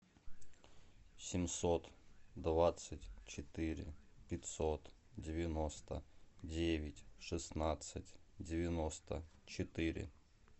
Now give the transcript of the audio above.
семьсот двадцать четыре пятьсот девяносто девять шестнадцать девяносто четыре